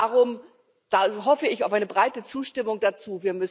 Und darum hoffe ich auf eine breite Zustimmung dazu.